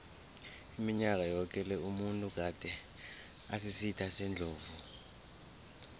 iminyaka yoke le umuntu gade asisitha sendlovu